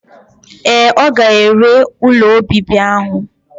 Ee, ọ ga-ere ụlọ obibi ahụ.